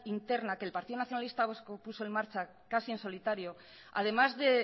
interna que el partido nacionalista vasco puso en marcha casi en solitario además de